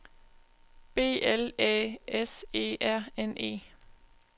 B L Æ S E R N E